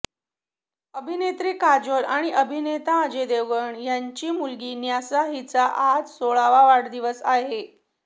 अभिनेत्री काजोल आणि अभिनेता अजय देवगण यांची मुलगी न्यासा हिचा आज सोळावा वाढदिवस आहे